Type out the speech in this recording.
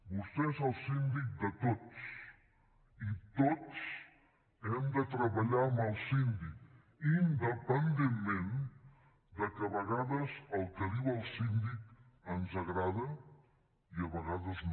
vostè és el síndic de tots i tots hem de treballar amb el síndic independentment de que a vegades el que diu el síndic ens agrada i a vegades no